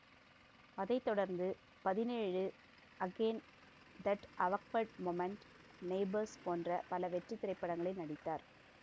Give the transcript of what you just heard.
அதை தொடர்ந்து பதினேழு again that awkward moment neighbours போன்ற பல வெற்றி திரைப்படங்களில் நடித்தார்